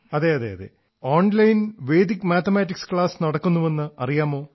ആതെ അതെ online Vedic mathematics class നടക്കുന്നുവെന്ന് അറിയാമോ